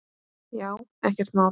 Já, ekkert mál.